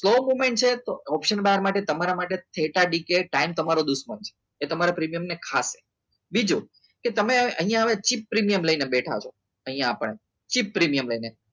slow movement છે તો option બહાર માટે તમારા માટે દુશ્મન છે એ તમારા પ્રીમિયમ ને ખાસે બીજું કે તમે અહીંયા આવે છે પ્રીમિયમ લઈને બેઠા છો અહીંયા આપણને જે પ્રીમિયમ લઈને